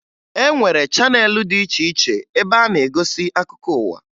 E nwere chaneelụ dị iche iche ebe a na-egosi akụkọ ụwa